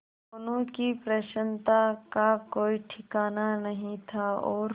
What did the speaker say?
दोनों की प्रसन्नता का कोई ठिकाना नहीं था और